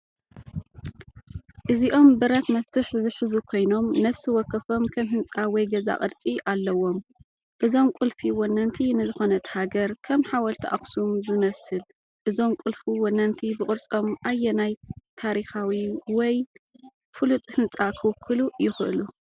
እዚኦም ብረት መፍትሕ ዝሕዙ ኮይኖም ነፍሲ ወከፎም ከም ህንጻ ወይ ገዛ ቅርጺ ኣለዎም። እዞም ቁልፊ ወነንቲ ንዝኾነት ሃገር (ከም ሓወልቲ ኣክሱም ዝመስል) ፣ እዞም ቁልፊ ወነንቲ ብቅርጾም ኣየናይ ታሪኻዊ ወይ ፍሉጥ ህንጻ ክውክሉ ይኽእሉ?